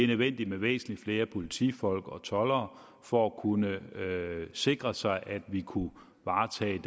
nødvendigt med væsentlig flere politifolk og toldere for at kunne sikre sig at vi kunne varetage